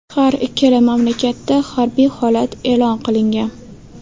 Har ikkala mamlakatda harbiy holat e’lon qilingan .